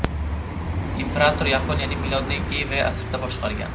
Imperator Yaponiyani milodning IV asrida boshqargan.